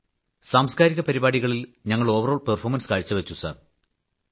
സാംസ്കാരിക പരിപാടികളിൽ ഞങ്ങൾ ഓവറോൾ പെർഫോർമൻസ് കാഴ്ചവച്ചു സർ